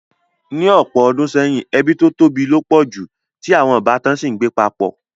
Ní ọ̀pọ̀ odùn seyìn, ebí to tóbi lo pọ̀ ju, ti àwon ìbátan si n gbé papọ̀